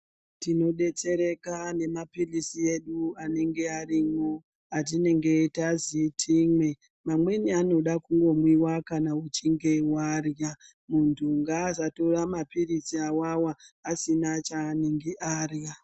Tinodetsereka nemapirizi edu anenge arimo atinenge tazi timwe amweni anodiwa kumwiwa kana uchinge warya muntu ngasatora mapirizi awawa asina chanenge arya.